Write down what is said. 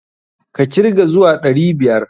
Ka kirga zuwa ɗari biyar!